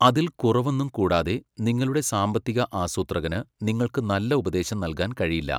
അതിൽ കുറവൊന്നും കൂടാതെ, നിങ്ങളുടെ സാമ്പത്തിക ആസൂത്രകന് നിങ്ങൾക്ക് നല്ല ഉപദേശം നൽകാൻ കഴിയില്ല.